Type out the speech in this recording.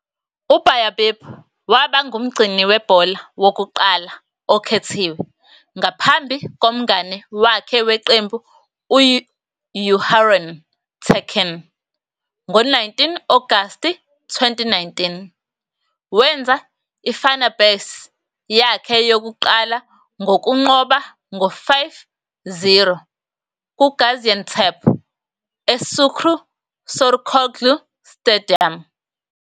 U-Bayдыр waba ngumgcini webhola wokuqala okhethiwe ngaphambi komngane wakhe weqembu u-UHarun Tekin. Ngo-19 August 2019, wenza i-Fenerbahçe yakhe yokuqala ngokunqoba ngo-5-0 kuGaziantep eSukkrü Saracoğlu Stadium.